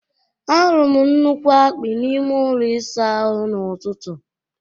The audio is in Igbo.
Ahụrụ m nnukwu akpị n'ime ụlọ ịsa ahụ n'ụtụtụ a.